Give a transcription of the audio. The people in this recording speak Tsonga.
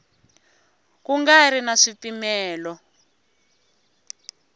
ku nga ri na swipimelo